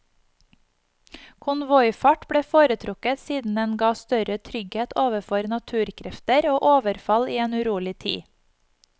Konvoifart ble foretrukket siden den gav større trygghet overfor naturkrefter og overfall i en urolig tid.